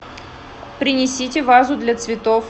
принесите вазу для цветов